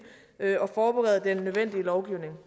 og forberede den nødvendige lovgivning